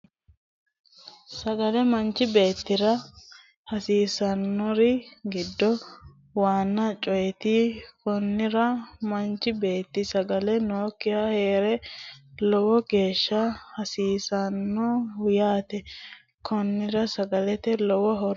Sagale manchi beettira hasiisanori giddo waana coyiti konnira manchi beetti sagale nookiha heera lowo geeshsha hasiisanno yaate konnira sagalete lowo horo noose yaate